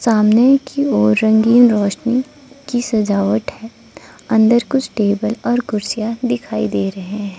सामने की ओर रंगीन रोशनी की सजावट है अंदर कुछ टेबल और कुर्सियां दिखाई दे रहे हैं।